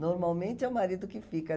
Normalmente é o marido que fica.